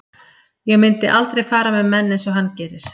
Ég myndi aldrei fara með menn eins og hann gerir.